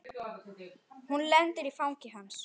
Hún lendir í fangi hans.